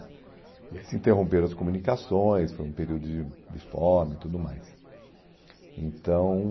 se interromperam as comunicações, foi um período de de fome e tudo mais. Então...